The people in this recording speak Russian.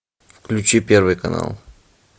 включи первый канал